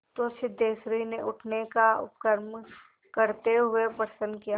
तो सिद्धेश्वरी ने उठने का उपक्रम करते हुए प्रश्न किया